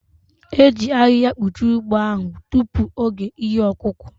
E ji ahịhịa kpuchie ugbo ahụ tupu oge ihe ọkụkụ